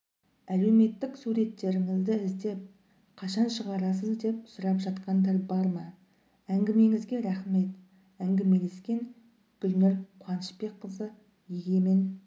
әлеуметтік суреттеріңізді іздеп қашан шығарасыз деп сұрап жатқандар бар ма әңгімеңізге рахмет әңгімелескен гүлнұр қуанышбекқызы егемен